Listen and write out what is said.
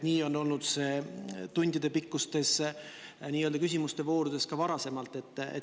Nii on olnud see tundidepikkustes küsimuste voorudes ka varasemalt.